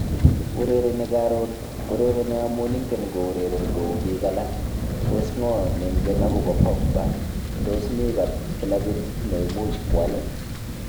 Urereni karon, urereni amun ingen koureren kou bik alak, tos ng'o nengen agobo Pogba, tos mi Kilabit neimuuch kwal.